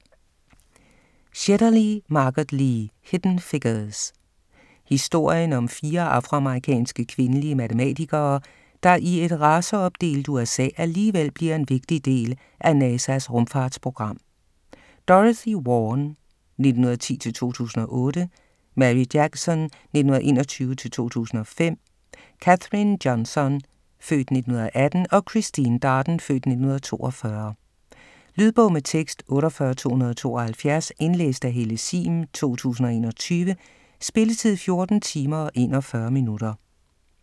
Shetterly, Margot Lee: Hidden figures Historien om fire afroamerikanske, kvindelige matematikere, der i et raceopdelt USA, alligevel bliver en vigtig del af NASA's rumfartsprogram: Dorothy Vaughan (1910-2008), Mary Jackson (1921-2005), Katherine Johnson (f. 1918) og Christine Darden (f. 1942). Lydbog med tekst 48272 Indlæst af Helle Sihm, 2021. Spilletid: 14 timer, 41 minutter.